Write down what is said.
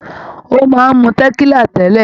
Ó máa ń mu tẹ̀kílà tẹ́lẹ̀.